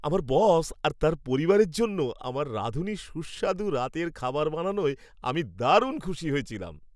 আমার বস আর তাঁর পরিবারের জন্য আমার রাঁধুনি সুস্বাদু রাতের খাবার বানানোয় আমি দারুণ খুশি হয়েছিলাম।